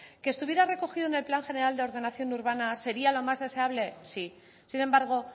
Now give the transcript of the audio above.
que estuviera recogido en el plan general de ordenación urbana sería lo más deseable sí sin embargo